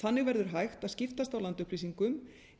þannig verður hægt að skiptast á landupplýsingum